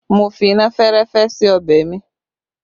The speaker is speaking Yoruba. Mo fi iná fẹ́rẹ́fẹ́ sí ọbẹ̀ mi